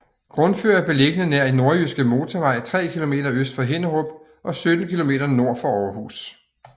Grundfør er beliggende nær Nordjyske Motorvej tre kilometer øst for Hinnerup og 17 kilometer nord for Aarhus